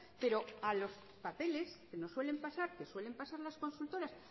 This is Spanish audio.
pero a los papeles que nos suelen pasar que suelen pasar las consultoras